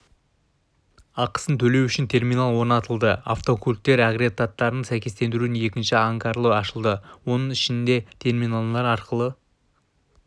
ақысын төлеу үшін терминал орнатылды автокөліктер агрегаттарын сәйкестендірудің екінші ангары ашылды оның ішінде терминалдар арқылы